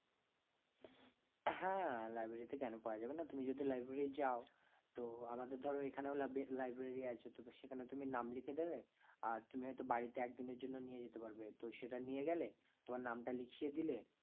হ্যাঁ, library তে কেন পাওয়া যাবে না, তুমি যদি library যাও তো আমাদের ধরো এখানেও লাবে~ library আছে তো তো সেখানে তুমি নাম লিখে দেবে আর তুমি হয়তো বাড়িতে একদিনের জন্য নিয়ে যেতে পারবে তো সেটা নিয়ে গেলে তোমার নামটা লিখিয়ে দিলে